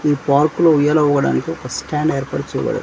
ఈ పార్క్ లో ఉయ్యాల ఊగడానికి ఒక స్టాండ్ ఏర్పాటు చేయబడును--